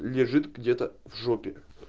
лежит где-то в жопе